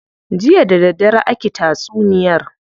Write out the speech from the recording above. Jiya da daddare aki tatsuniyar.